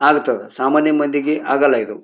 ಆಗ್ತಾವ್ ಸಾಮಾನ್ಯ ಮಂದಿಗೆ ಆಗೋಲ್ಲ ಇದು.